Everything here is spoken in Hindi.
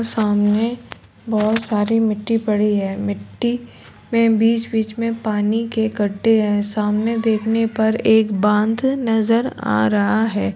सामने बहोत सारी मिट्टी पड़ी है। मिट्टी में बीच-बीच में पानी के कड़े हैं। सामने देखने पर एक बांध नज़र आ रहा है।